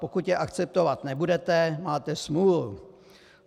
Pokud je akceptovat nebudete, máte smůlu.